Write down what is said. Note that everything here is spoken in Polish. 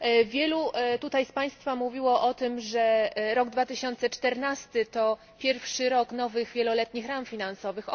Wielu tutaj z Państwa mówiło o tym, że rok 2014 to pierwszy rok nowych wieloletnich ram finansowych.